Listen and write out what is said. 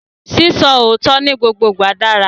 Sísọ òótọ́ ni gbogbo ìgbà dára